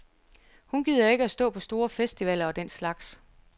Hun gider ikke stå på store festivaler og den slags.